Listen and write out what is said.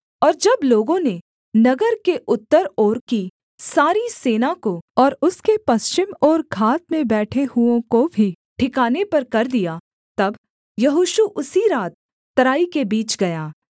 और जब लोगों ने नगर के उत्तर ओर की सारी सेना को और उसके पश्चिम ओर घात में बैठे हुओं को भी ठिकाने पर कर दिया तब यहोशू उसी रात तराई के बीच गया